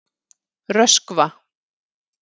Röskva